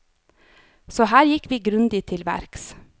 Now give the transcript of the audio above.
Så her gikk vi grundig til verks.